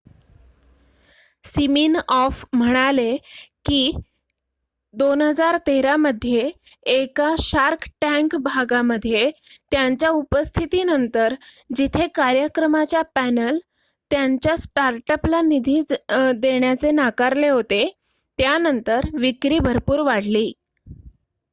Siminoff म्हणाले कि 2013 मध्ये एका शार्क टॅंक भागामध्ये त्यांच्या उपस्थितीनंतर जिथे कार्यक्रमाच्या पॅनल त्यांच्या स्टार्टअपला निधी देण्याचे नाकारले होते त्यानंतर विक्री भरपूर वाढली